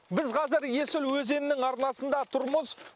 біз қазір есіл өзенінің арнасында тұрмыз